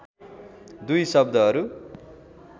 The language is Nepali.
दुई शब्दहरू